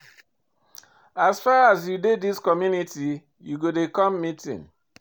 As far as sey you dey dis community, you go dey come meeting.